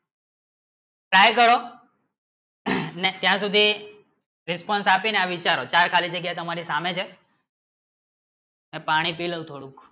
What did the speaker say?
try કરો ત્યાં સુધી response આપણી ને તમે વિચારો ચાર ખાલી જગ્યા તમારે સામને છે મેં પાણી પીળું થોડું